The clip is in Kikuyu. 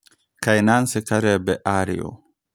Kaĩ Nancy Kalembe arĩ ũũ?